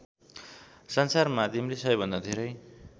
सञ्चारमाध्यमले सबैभन्दा धेरै